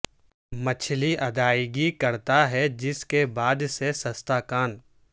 مچھلی ادائیگی کرتا ہے جس کے بعد سے سستا کان